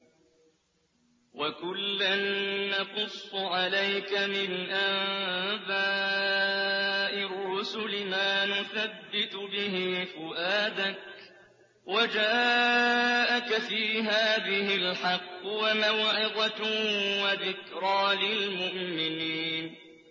وَكُلًّا نَّقُصُّ عَلَيْكَ مِنْ أَنبَاءِ الرُّسُلِ مَا نُثَبِّتُ بِهِ فُؤَادَكَ ۚ وَجَاءَكَ فِي هَٰذِهِ الْحَقُّ وَمَوْعِظَةٌ وَذِكْرَىٰ لِلْمُؤْمِنِينَ